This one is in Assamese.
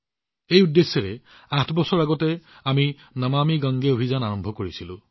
এই উদ্দেশ্যৰে আঠ বছৰ পূৰ্বে আমি নমামি গংগে অভিযান আৰম্ভ কৰিছিলো